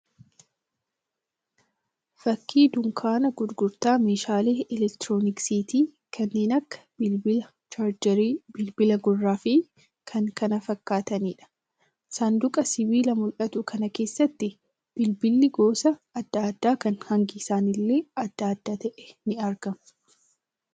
Fakkii dunkaana gurgurtaa meeshaalee 'elektirooniksiiti' kanneen akka bilbilaa, 'chaarjeerii', bilbila gurraa fi kan kana fakkaataniidha. Saanduqa sibiilaa mul'atu kana keessatti bilbilli gosa adda adda kan hangi isaaniillee adda adda ta'e ni argamu.